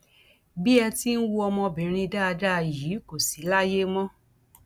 bí ẹ ti ń wo ọmọbìnrin dáadáa yìí kò sì láyé mọ